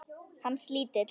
Hans lítill.